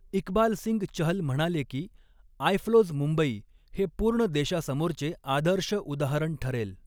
इकबालसिंग चहल म्हणाले की, आयफ़्लोज मुंबई हे पूर्ण देशासमोरचे आदर्श उदाहरण ठरेल.